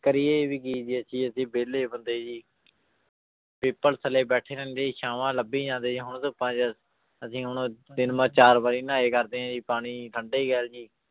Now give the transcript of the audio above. ਕਰੀਏ ਵੀ ਕੀ ਜੀ ਅਸੀਂ ਅਸੀਂ ਵਿਹਲੇ ਬੰਦੇ ਜੀ ਪਿੱਪਲ ਥੱਲੇ ਬੈਠੇ ਰਹਿੰਦੇ ਛਾਵਾਂ ਲੱਭੀ ਜਾਂਦੇ ਜੀ ਹੁਣ ਧੁੱਪਾਂ 'ਚ ਅਸੀਂ ਹੁਣ ਤਿੰਨ ਵ~ ਚਾਰ ਵਾਰੀ ਨਹਾਏ ਕਰਦੇ ਹਾਂ ਜੀ ਪਾਣੀ ਠੰਢੇ ਜੀ